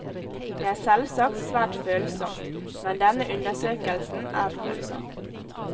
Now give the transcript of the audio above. Det er selvsagt svært følsomt, men denne undersøkelsen er følsom.